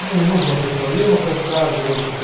ну не нужно о своих проблемах рассказывать как-то